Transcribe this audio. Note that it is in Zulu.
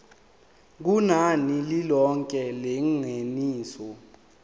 kunani lilonke lengeniso